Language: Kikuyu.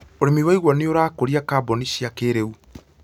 Ũrĩmi wa igwa nĩ ũrakũria kambũni cia kĩrĩu